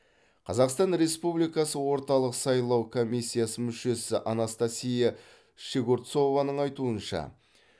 қазақстан республикасы орталық сайлау комиссиясы мүшесі анастасия щегорцованың айтуынша